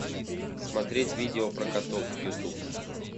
смотреть видео про котов ютуб